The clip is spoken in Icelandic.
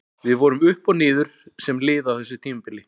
Við vorum upp og niður sem lið á þessu tímabili.